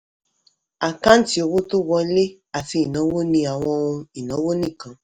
àkáǹtì owó tó wọlé àti ìnáwó ní àwọn ohun ìnáwó nìkan.